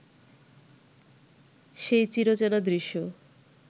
সেই চিরচেনা দৃশ্য